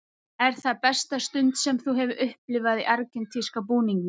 Er það besta stund sem þú hefur upplifað í argentínska búningnum?